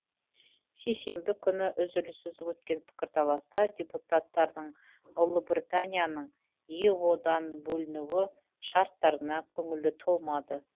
сейсенбі күні үзіліссіз өткен пікірталаста депутаттардың ұлыбританияның ео дан бөліну шарттарына көңілі толмады